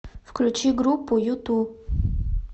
включи группу юту